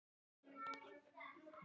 Biður um Beru.